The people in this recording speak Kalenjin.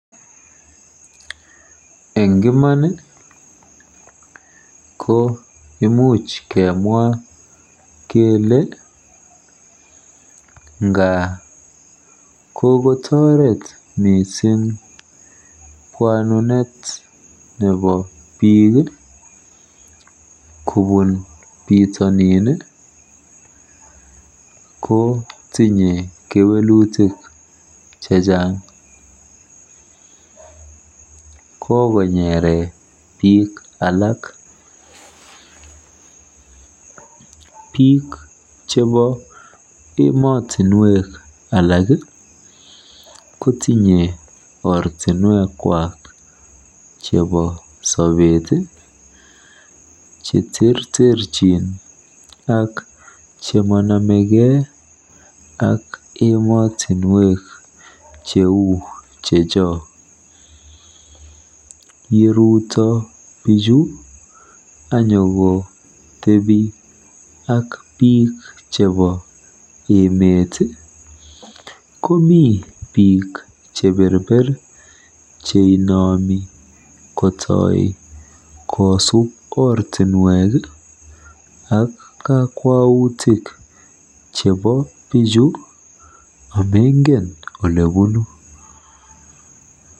Eng' iman ko imuch kemwa kele nga kokotoret mising' pwanunet nepo piik kopun pitonin ko tinye kewelutik chechang' kogonyere piik alak piik chepo emotinwek alak kotinyei ortinwek kwak chepo sopet cheterterchin ak chemananegei ak emotinwek cheu checho yeruto piikchu anyikotepi ak piik chepo emet komii piik cheperper cheunomi kotoy kosup ortinwek ak kakwautik chepo pichu amengen ole punu.